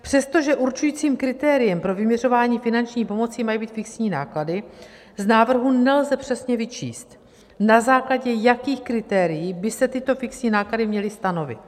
Přestože určujícím kritériem pro vyměřování finanční pomoci mají být fixní náklady, z návrhu nelze přesně vyčíst, na základě jakých kritérií by se tyto fixní náklady měly stanovit.